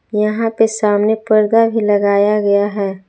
यहां पे सामने पर्दा भी लगाया गया है।